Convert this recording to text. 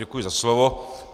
Děkuji za slovo.